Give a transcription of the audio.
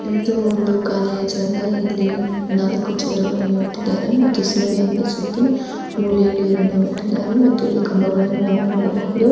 ಇದು ಒಂದು ಕಾಲಿಯ ಜಾಗ ಇಲ್ಲಿ ನಾಲಕ್ಕು ಚೇರು ಗಳನ್ನು ಇಟ್ಟಿದ್ದಾರೆ ಮತ್ತು ಸಿಂಬಿಯಂಗೆ ಸುತ್ತಿ ಮೂಲೆಯಲ್ಲಿ ಏನನ್ನೋ ಇಟ್ಟಿದ್ದಾರೆ ಮತ್ತು ಇಲ್ಲಿ ಕಂಬಗಳನ್ನು ನಾವು ನೋಡಬಹುದು.